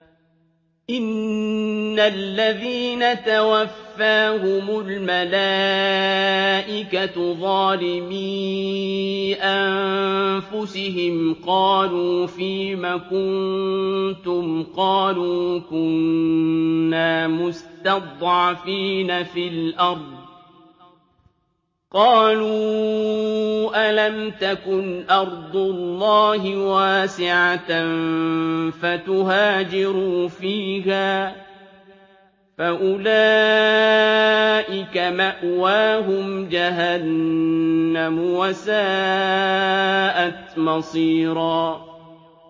إِنَّ الَّذِينَ تَوَفَّاهُمُ الْمَلَائِكَةُ ظَالِمِي أَنفُسِهِمْ قَالُوا فِيمَ كُنتُمْ ۖ قَالُوا كُنَّا مُسْتَضْعَفِينَ فِي الْأَرْضِ ۚ قَالُوا أَلَمْ تَكُنْ أَرْضُ اللَّهِ وَاسِعَةً فَتُهَاجِرُوا فِيهَا ۚ فَأُولَٰئِكَ مَأْوَاهُمْ جَهَنَّمُ ۖ وَسَاءَتْ مَصِيرًا